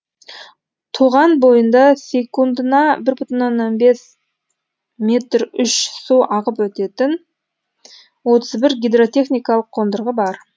тоған бойында секундына бір бүтін оннан бес метр үш су ағып өтетін отыз бір гидротехникалық қондырғы бар